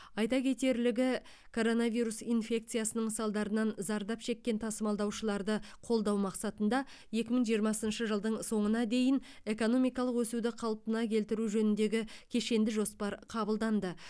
айта кетерлігі коронавирус инфекцияның салдарынан зардап шеккен тасымалдаушыларды қолдау мақсатында екі мың жиырмасыншы жылдың соңыңа дейін экономикалық өсуді қалпына келтіру жөніндегі кешенді жоспар қабылданды